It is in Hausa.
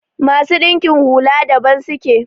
masu dinkin hula daban suke